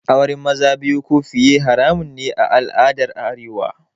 Auren maza biyu ko fiye haramun ne a al'adar arewa